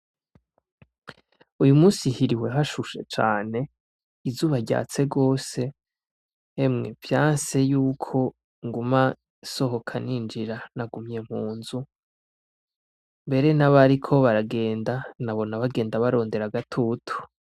Uyu munsi hiriwe hashushe cane izuba ryatse gose hemwe vyanse yuko nguma nsohoka ninjira nagumye mu nzu, mbere n'abariko baragenda nabona bagenda barondera agatutu.